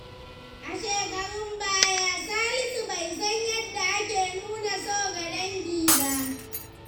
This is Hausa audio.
A shekarun baya, Salisu bai san yadda ake nuna so ga dangi ba.